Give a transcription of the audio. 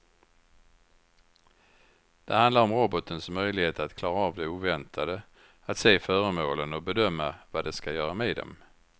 Det handlar om robotens möjlighet att klara av det oväntade, att se föremålen och bedöma vad den ska göra med dem.